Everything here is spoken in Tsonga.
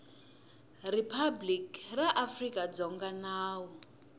riphabliki ra afrika dzonga nawu